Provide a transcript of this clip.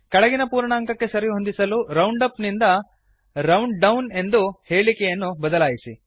ಕೆಳಗಿನ ಪೂರ್ಣಾಂಕಕ್ಕೆ ಸರಿಹೊಂದಿಸಲು ರೌಂಡಪ್ ನಿಂದ ರೌಂಡ್ಡೌನ್ ಎಂದು ಹೇಳೀಕೆಯನ್ನು ಬದಲಾಯಿಸಿ